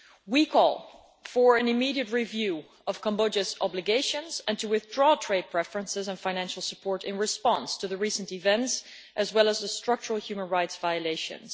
We call for an immediate review of Cambodia's obligations and for the withdrawal of trade preferences and financial support in response to the recent events, as well as the structural human rights violations.